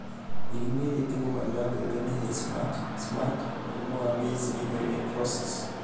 Mĩrimũ ĩrĩa ĩgũmagĩra mbembe nĩ Head smut, Smut, mũrimũ wa Maize lethal necrosis